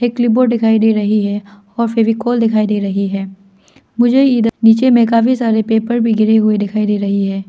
Clipboard दिखाई दे रही है और फेविकोल दिखाई दे रही है मुझे इधर नीचे में काफी सारे पेपर भी गिरे हुए दिखाई दे रही है।